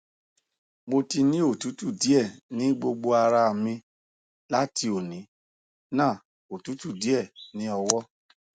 mo ti ni otutu die ni gbogbo ara mi lati oni na otutu die ni owo